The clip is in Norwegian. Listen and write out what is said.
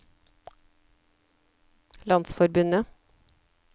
landsforbundet